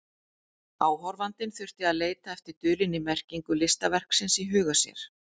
Áhorfandinn þurfti að leita eftir dulinni merkingu listaverksins í huga sér.